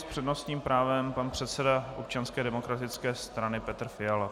S přednostním právem pan předseda Občanské demokratické strany Petr Fiala.